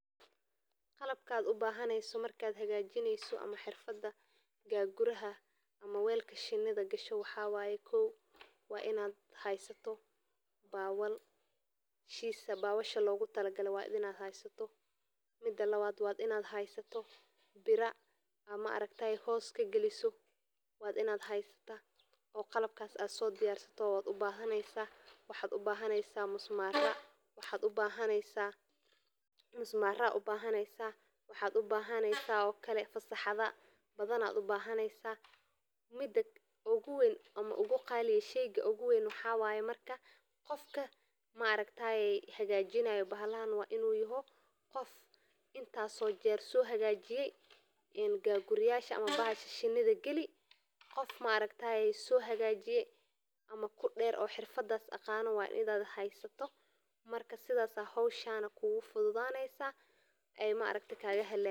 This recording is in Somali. Qalabkad ubahaneyso marka bixinesyo welka shinada waxa waye in ad heysato qalabka oo ad sodiyarsato oo musmaro ayad ubahaneysa oo mida oguween waxa waye qofka hagajinayo bahasha in ahado qof horaan uhagajiye gagura ama qalabka shinada ama kudeer oo xirfada aqano oo howsha kufududeyo.